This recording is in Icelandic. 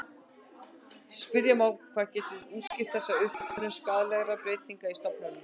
Spyrja má hvað getur útskýrt þessa uppsöfnun skaðlegra breytinga í stofninum.